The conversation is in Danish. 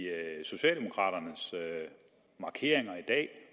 socialdemokraternes markeringer i dag